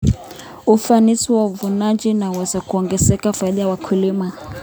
Ufanisi wa uvunaji unaweza kuongeza faida ya wakulima.